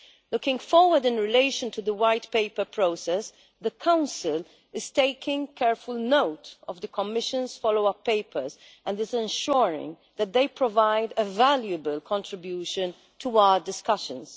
Looking forward in relation to the White Paper process, the Council is taking careful note of the Commission's follow up papers and is ensuring that they provide a valuable contribution to our discussions.